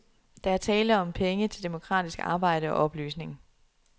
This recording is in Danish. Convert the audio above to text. Der er tale om penge til demokratisk arbejde og oplysning.